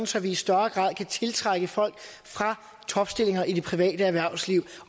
så vi i større grad kan tiltrække folk fra topstillinger i det private erhvervsliv